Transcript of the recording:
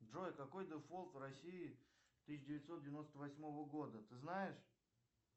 джой какой дефолт в россии тысяча девятьсот девяносто восьмого года ты знаешь